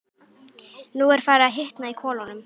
Nú er farið að hitna í kolunum.